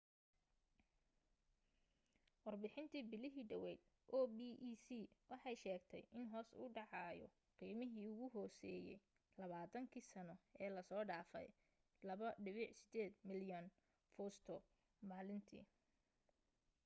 warbixintii bilihii dhaweyd opec waxay sheegtay in hoos u dhaceyso qiimihii ugu hooseeyey labaatan kii sano ee la soo dhaafay 2.8 milyan fuusto maalintii